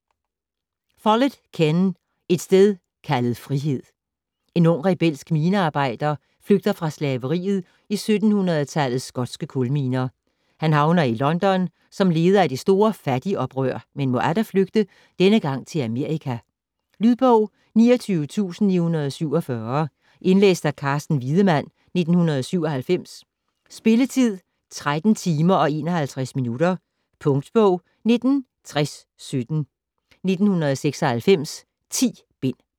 Follett, Ken: Et sted kaldet frihed En ung rebelsk minearbejder flygter fra slaveriet i 1700-tallets skotske kulminer. Han havner i London som leder af det store fattigoprør, men må atter flygte - denne gang til Amerika. Lydbog 29947 Indlæst af Carsten Wiedemann, 1997. Spilletid: 13 timer, 51 minutter. Punktbog 196017 1996. 10 bind.